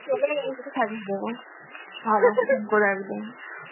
শাড়ি দেবো করে একদম